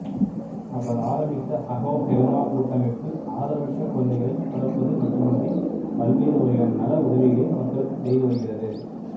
அவர் ஆரம்பித்த அகோஹெல்மா கூட்டமைப்பு ஆதரவற்ற குழந்தைகளை வளர்ப்பது மட்டுமன்றி பல்வேறு வகையான நல உதவிகளையும் மக்களுக்குச் செய்து வருகிறது